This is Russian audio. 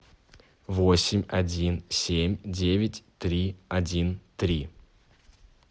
восемь один семь девять три один три